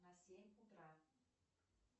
на семь утра